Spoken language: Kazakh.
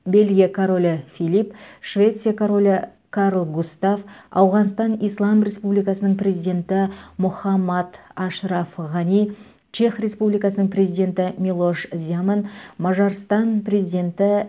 бельгия королі филипп швеция королі карл густав ауғанстан ислам республикасының президенті мохаммад ашраф ғани чех республикасының президенті милош земан мажарстан президенті